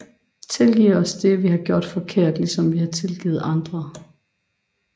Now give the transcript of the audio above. Tilgiv os det vi har gjort forkert ligesom vi har tilgivet andre